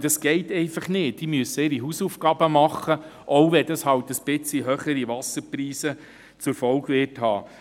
Und das geht einfach nicht, sie müssen ihre Hausaufgaben machen, auch wenn das eine kleine Erhöhung der Wasserpreise zur Folge hat.